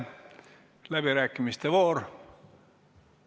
Algab läbirääkimiste voor.